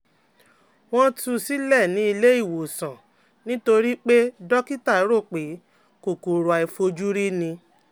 Wọ́n tu sílẹ̀ nílé ìwòsàn nítorí pé dókítà rò pé kòkòrò àìfojúrí ni